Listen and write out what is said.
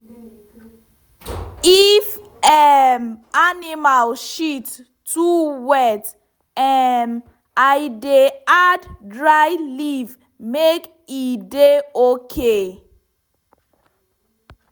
if um animal shit too wet um i dey add dry leaf make e dey okay.